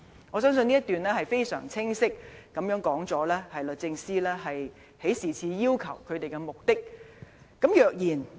"我相信這一段已經非常清晰指出律政司提出這項請求的目的。